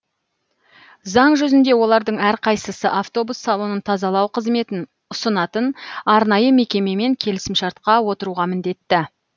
заң жүзінде олардың әрқайсысы автобус салонын тазалау қызметін ұсынатын арнайы мекемемен келісімшартқа отыруға міндетті